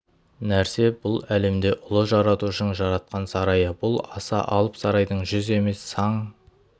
нәрсе бұл әлем де ұлы жаратушының жаратқан сарайы бұл аса алып сарайдың жүз емес саң